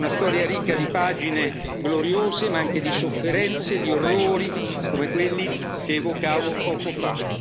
Una storia ricca di pagine gloriose, ma anche di sofferenze e di orrori, come quelli che evocavo poco